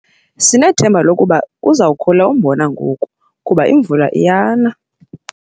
Sinethemba lokuba uza kukhula umbona ngoku kuba imvula iyana.